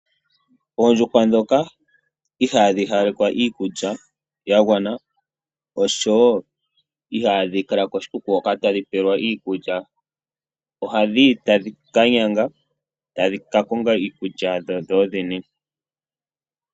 Oondjuhwa ndhoka ihaadhi hawalekwa iikulya ya gwana osho wo ihaadhi kala koshikuku hoka tadhi pelwa ko iikulya ya gwana ohadhi yi tadhi ka nyanga tadhi ka konga iikulya yadho dho dhene.